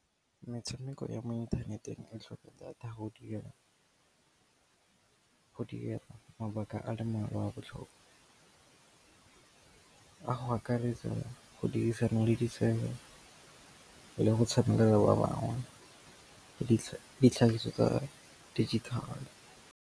Metshameko ya mo inthaneteng e tlhoka data go dira, go dira mabaka a le mmalwa a botlhokwa, a go akaretsa, go dirisana le ditsebe le go tshameka le ba bangwe ditlhagiso tsa digital.